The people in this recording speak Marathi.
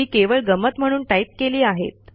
ती केवळ गंमत म्हणून टाईप केली आहेत